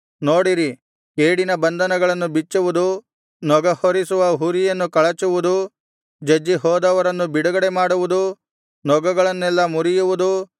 ನೋಡಿರಿ ಕೇಡಿನ ಬಂಧನಗಳನ್ನು ಬಿಚ್ಚುವುದು ನೊಗಹೊರಿಸುವ ಹುರಿಯನ್ನು ಕಳಚುವುದು ಜಜ್ಜಿ ಹೋದವರನ್ನು ಬಿಡುಗಡೆ ಮಾಡುವುದು ನೊಗಗಳನ್ನೆಲ್ಲಾ ಮುರಿಯುವುದು